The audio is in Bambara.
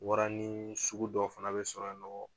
Waranin sugu dɔ fana bɛ sɔrɔ yennɔ.